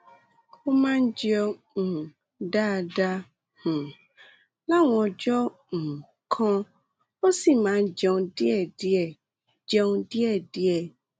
ó máa ń jẹun um dáadáa um láwọn ọjọ́ um kan ó sì máa ń jẹun díẹ̀díẹ̀ jẹun díẹ̀díẹ̀